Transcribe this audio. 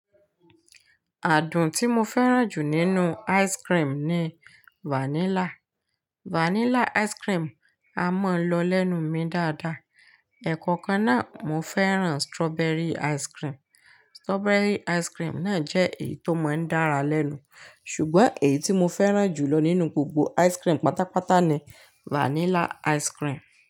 Àádùn tí mo fẹ́ràn jù nínú ice cream ni vanilla. Vanilla ice cream a mọ̀ lọ lẹ́nu mi dáadáa. Ẹ̀kọ̀kan náà, mo fẹ́ràn strawberry ice cream. Strawberry ice cream náà jẹ́ èyí tó mọ ń dára lẹ́nu. Ṣùgbọ́n èyí tí mo fẹ́ràn jù lọ nínú gbogbo ice cream pátápátá ni vanilla ice cream.